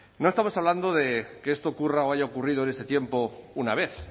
no estamos hablando de que esto ocurra o haya ocurrido en este tiempo una vez